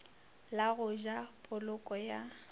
la go ja poloko ya